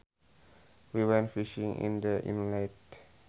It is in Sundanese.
We went fishing in the inlet